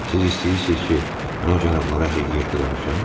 Siz istəyirsiz ki, mən o cənablara həqiqəti danışım?